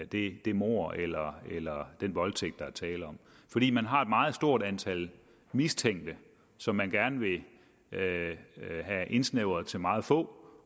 det mord eller eller den voldtægt der er tale om fordi man har et meget stort antal mistænkte som man gerne vil have indsnævret til meget få